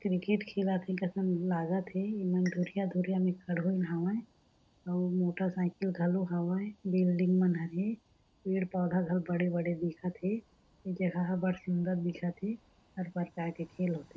Cricket खेलत हे कसन लागत हे ए मन धुरिहा-धुरिया में ठड़ोइन हावय अउ मोटर साइकिल घलो हावय बिल्डिंग मन हर हे पेड़-पौधा हर बड़े-बड़े दिखत हे ए जगह बढ़ सुन्दर दिखत हर परकार के खेल होथे।